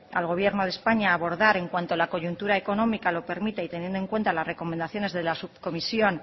al gobierno de españa a abordar en cuanto a la coyuntura económica lo permita y teniendo en cuenta las recomendaciones de la subcomisión